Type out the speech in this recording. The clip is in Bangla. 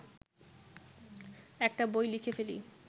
একটা বই লিখে ফেলি